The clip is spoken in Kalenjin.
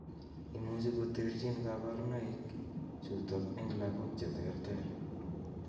Imuch koterchin kaborunoik chutok eng' lagok cheterter